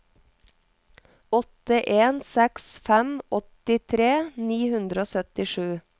åtte en seks fem åttitre ni hundre og syttisju